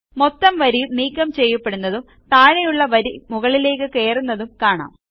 മൊത്തം വരിയും നീക്കം ചെയ്യപ്പെടുന്നതും താഴെയുള്ള വരി മുകളിലേയ്ക്ക് കയറുന്നതും കാണാം